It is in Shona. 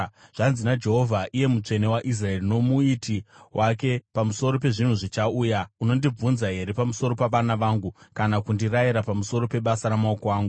“Zvanzi naJehovha, iye Mutsvene waIsraeri, noMuiti wake: Pamusoro pezvinhu zvichauya, unondibvunza here pamusoro pavana vangu, kana kundirayira pamusoro pebasa ramaoko angu?